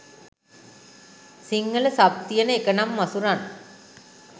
සිංහල සබ් තියෙන එකනම් මසුරන්.